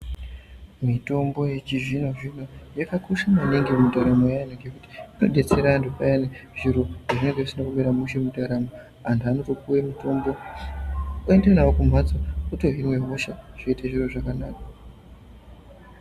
Mutombo yechizvino zvino yakakosha maningi mundaramo yeandu ngekuti inodetsera andu peyani zviro pazvinenge zvisina kumira mushe mundaramo andu anopiwa mutombo oenda nawo kumbatso otohinwa hosha zviro zvoita zvakanaka